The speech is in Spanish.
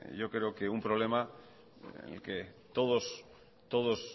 yo creo que un problema en el que todos